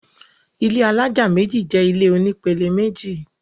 ilé alájà méjì jẹ ilé oní pele méjì